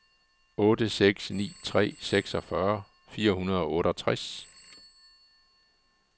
otte seks ni tre seksogfyrre fire hundrede og otteogtres